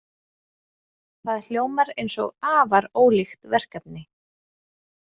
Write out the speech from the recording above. Það hljómar eins og afar ólíkt verkefni.